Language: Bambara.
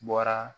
Bɔra